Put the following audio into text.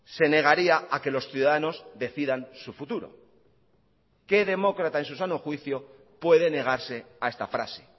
se negaría a que los ciudadanos decidan su futuro qué demócrata en su sano juicio puede negarse a esta frase